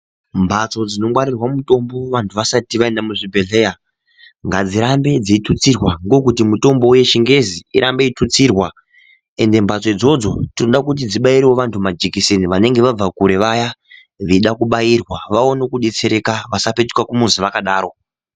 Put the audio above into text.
Mbatso dzinongwarirwa mutombo, vantu vasati vayinda muzvibhedhleya, ngadzirambe dzeyitutsirwa ngokuti mutombo wechingezi irambe eyitutsirwa. Ende mbatso dzodzo, toda kuti dzibayirwe vantu majekiseni vanenge vabva kure vaya, veyida kubayirwa, vawone kudetserwka vasapetuka kumuzi vakadaro.